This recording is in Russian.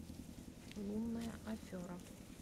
лунная афера